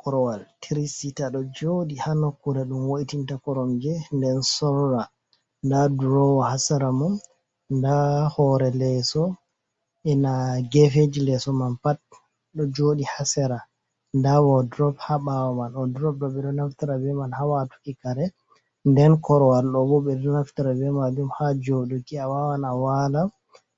Korowal trisita do jodi ha nokkuda dum woitinta koromge nden sorra, nda drowa hasara mum da hore leeso na gefeji leso man pat do jodi ha sera, da wodrob hababawa man o drob do bedo naftira be man hawatuki kare nden korowal dobuvbedo naftira ɗum ha joduki a wawan a wala